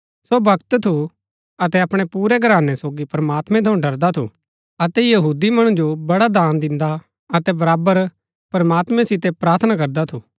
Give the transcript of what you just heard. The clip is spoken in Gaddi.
सो भक्त थु अतै अपणै पुरै घरानै सोगी प्रमात्मैं थऊँ ड़रदा थु अतै यहूदी मणु जो बड़ा दान दिन्दा अतै बराबर प्रमात्मां सितै प्रार्थना करदा थु